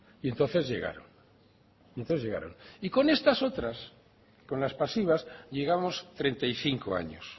y entonces llegaron y entonces llegaron y con estas otras con las pasivas llegamos treinta y cinco años